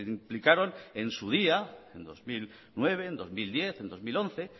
implicaron en su día en dos mil nueve en dos mil diez en dos mil once